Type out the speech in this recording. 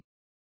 ਧੰਨਵਾਦ